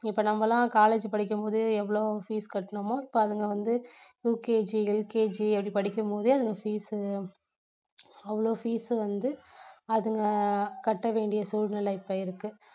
இப்போ நம்ம எல்லாம் college படிக்கும்போது எவ்வளவு fees கட்டிணமோ இப்போ அதுங்க வந்து UKGLKG அப்படி படிக்கும்போதே அதுங்க fees அவ்வளவு fees வந்து அதுங்க கட்ட வேண்டிய சூழ்நிலை இப்போ இருக்கு.